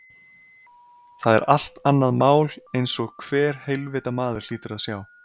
Það er allt annað mál einsog hver heilvita maður hlýtur að sjá.